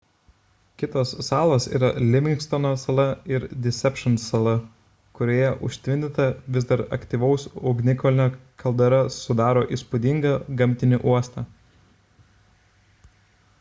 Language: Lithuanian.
kitos salos yra livingstono sala ir deception sala kurioje užtvindyta vis dar aktyvaus ugnikalnio kaldera sudaro įspūdingą gamtinį uostą